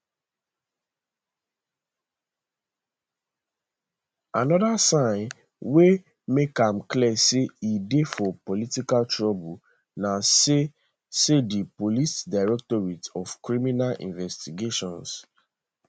anoda sign wey make am clear say e dey for political trouble na say say di police directorate of criminal investigations